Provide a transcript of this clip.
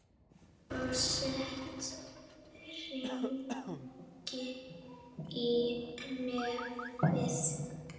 Og sett hring í nefið.